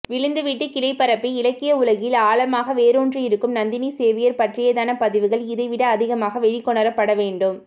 விழுது விட்டு கிளைபரப்பி இலக்கிய உலகில் ஆழமாக வேரூன்றியிருக்கும் நந்தினி சேவியர் பற்றியதான பதிவுகள் இதைவிட அதிகமாக வெளிக்கொணரப்பட வேண்டும்